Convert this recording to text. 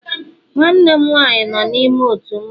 Nwannem nwaanyị no n'ime ótù mmawụ